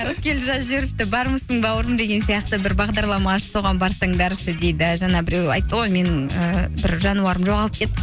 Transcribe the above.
рыскелді жазып жіберіпті бармысың бауырым деген сияқты бір бағдарлама ашып соған барсаңдаршы дейді жаңа біреу айтты ғой менің ііі бір жануарым жоғалып